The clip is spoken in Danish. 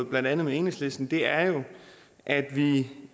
blandt andet enhedslisten er at vi